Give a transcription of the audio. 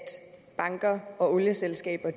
banker og olieselskaber